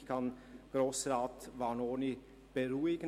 Ich kann Grossrat Vanoni beruhigen: